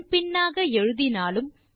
முன் பின்னாக எழுதினாலும்